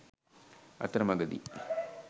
අතර මගදී